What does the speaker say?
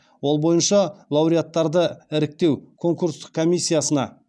ол бойынша лауреаттарды іріктеу конкурстық комиссиясына